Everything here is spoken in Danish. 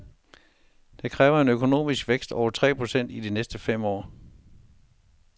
Det kræver en økonomisk vækst over tre procent i de næste fem år.